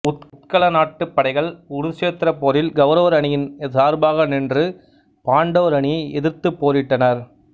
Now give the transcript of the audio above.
உத்கல நாட்டுப் படைகள் குருச்சேத்திரப் போரில் கௌரவர் அணியின் சார்பாக நின்று பாண்டவர் அணியை எதிர்த்துப் போரிட்டனர்